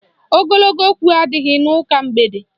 Ogologo okwu adịghị n'ụka mgbede